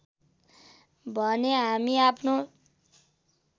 भने हामी आफ्नो